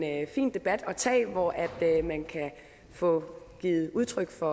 en fin debat at tage hvor man kan få givet udtryk for